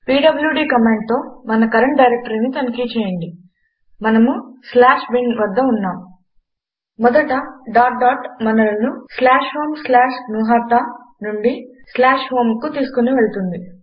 PWD కమాండుతో మన current డైరెక్టరీని తనిఖి చేయండి మనము bin వద్ద ఉన్నాము మొదట డాట్ డాట్ మనలను homegnuhata స్లాష్ హోమ్ స్లాష్ జ్ఞుహత నుండి home కు తీసుకొని వెళ్తుంది